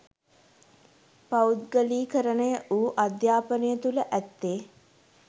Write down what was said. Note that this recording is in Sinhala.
පෞද්ගලීකරණය වූ අධ්‍යාපනය තුළ ඇත්තේ